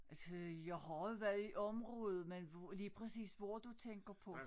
Altså jeg har været i området men hvor lige præcis hvor du tænker på